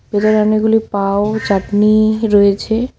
এধারে অনেকগুলি পাউ চাটনি রয়েছে।